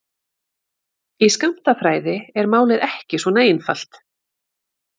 Í skammtafræði er málið ekki svona einfalt.